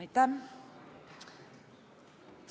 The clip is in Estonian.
Aitäh!